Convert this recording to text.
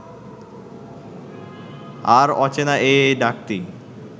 আর অচেনা এই ডাকটি